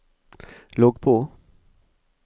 logg på